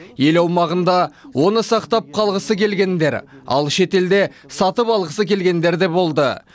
ел аумағында оны сақтап қалғысы келгендер ал шетелде сатып алғысы келгендер де болды